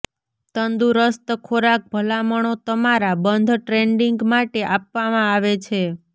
તંદુરસ્ત ખોરાક ભલામણો તમારા બંધ ટ્રેડીંગ માટે આપવામાં આવે છે